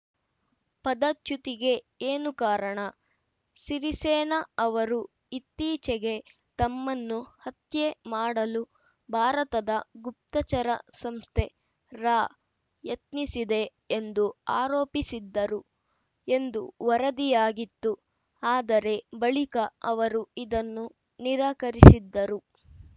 ಪದಚ್ಯುತಿಗೆ ಏನು ಕಾರಣ ಸಿರಿಸೇನ ಅವರು ಇತ್ತೀಚೆಗೆ ತಮ್ಮನ್ನು ಹತ್ಯೆ ಮಾಡಲು ಭಾರತದ ಗುಪ್ತಚರ ಸಂಸ್ಥೆ ರಾ ಯತ್ನಿಸಿದೆ ಎಂದು ಆರೋಪಿಸಿದ್ದರು ಎಂದು ವರದಿಯಾಗಿತ್ತು ಆದರೆ ಬಳಿಕ ಅವರು ಇದನ್ನು ನಿರಾಕರಿಸಿದ್ದರು